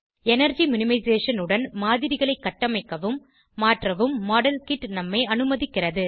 energy minimisation உடன் மாதிரிகளை கட்டமைக்கவும் மாற்றவும் மாடல்கிட் நம்மை அனுமதிக்கிறது